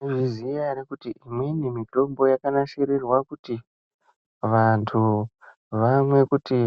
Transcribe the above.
Munozviziya ere kuti imweni mitombo yakanasirirwa kuti vantu vaone kuti